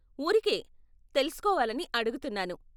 ఊరికే తెలుసుకోవాలని అడుగుతున్నాను.